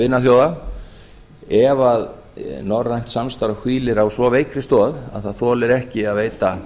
vinaþjóða ef norrænt samstarf hvílir á svo veikri stoð að það þoli ekki að veita